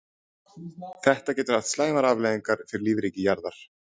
Þetta getur haft slæmar afleiðingar fyrir lífríki jarðar.